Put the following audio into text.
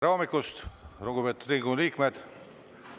Tere hommikust, lugupeetud Riigikogu liikmed!